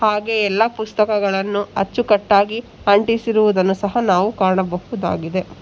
ಹಾಗೆ ಎಲ್ಲ ಪುಸ್ತಕಗಳನ್ನು ಅಚ್ಚುಕಟ್ಟಾಗಿ ಅಂಟಿಸಿರುವುದನ್ನು ಸಹಾ ನಾವು ಕಾಣಬಹುದಾಗಿದೆ.